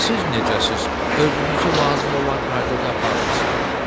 Siz necəsiz, özünüzü lazım olan qaydada aparmısınız?